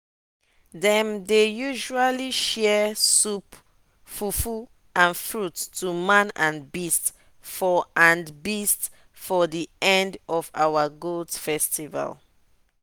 dem dey usually share soup fufu and fruits to man and beast for and beast for the end of our goat festival.